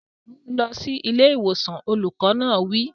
Mú un lọ sí ilé ìwòsàn! Olùkọ́ náà wí.